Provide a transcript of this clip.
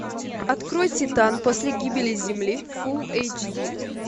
открой титан после гибели земли фул эйч ди